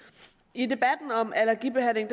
i debatten om allergibehandling